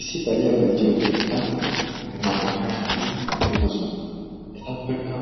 issi xaliyaa bayzziyo keettan naa''u asati eqqidosona etappekka